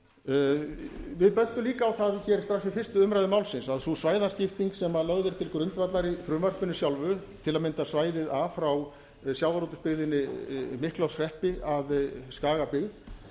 við bentum líka á það hér strax við fyrstu umræðu málsins að sú svæðaskipting sem lögð er til grundvallar í frumvarpinu sjálfu til að mynda bæði a frá sjávarútvegsbyggðinni miklaholtshreppi að skagabyggð